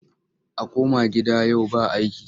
A koma gida yau ba aiki!